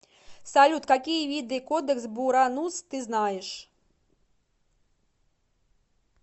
салют какие виды кодекс буранус ты знаешь